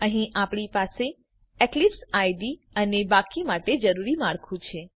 અહીં આપણી પાસે ઇક્લિપ્સ આઇડીઇ અને બાકીના માટે કોડ જરૂરી માળખું છે